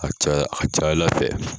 A ka ca Ala fɛ